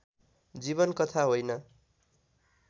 जीवन कथा होइन